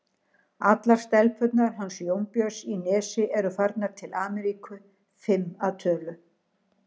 Allar stelpurnar hans Jónbjörns í Nesi eru farnar til Ameríku, fimm að tölu.